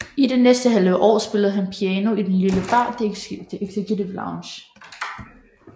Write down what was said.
I det næste halve år spillede han piano i den lille bar The Executive Lounge